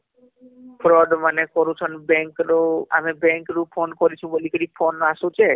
round ମାନେ କରୁଛନ bank ରୁ ଆମେ bank fraud ମାନେ କରୁଛନ bank ରୁ ଆମେ bank ରୁ phone କରିଛେ ବୋଲି କିରି phone ଅସୁଛେ